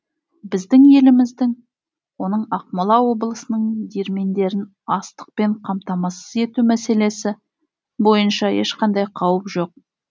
біздің еліміздің оның ақмола облысының диірмендерін астықпен қамтамасыз ету мәселесі бойынша ешқандай қауіп жоқ